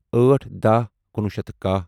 أٹھ دَہ کنُوہُ شیتھ کاہ